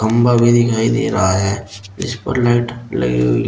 खंभा भी दिखाई दे रहा है इसपर लाइट लगी हुई--